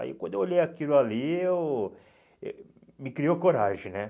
Aí quando eu olhei aquilo ali, eu eh me criou coragem, né?